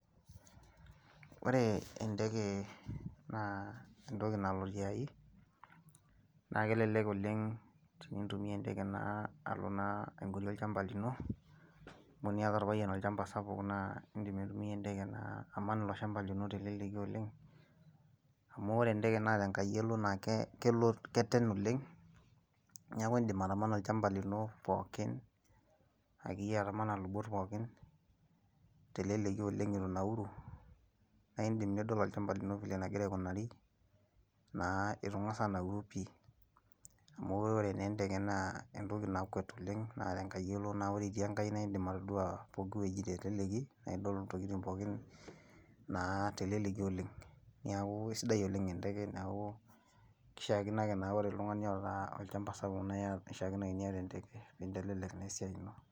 Ore enteke naa entoki nalo tiai naa kelelek oleng' tenitumia enteke naa alo naa aing'orie olchamba lino amu teniata orpayian olchamba sapuk naa indim aitumia enteke naa aman ilo shamba lino te leleki oleng amu ore enteke naa te enkai elo naa kelo naa keten oleng neaku idim atamana olchamba lino pokin akeyie atamana lupot pookin te leleki oleng itu inaauru naa idim nidol olchamba lino enekira aikunari naa itu ingas anauru pi amu ore naa enteke naa entoki nakwet oleng naa te nkai elo naa wore te nkai indim atodua pooki wueji te leleki naa idol intokitin pooki naa teleleki oleng neaku isidai enteke neaku kishakino ake ore oltungani oota olchamba sapuk naa kishakino ake niata enteke pee itelelek esiai ino.